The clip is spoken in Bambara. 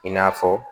I n'a fɔ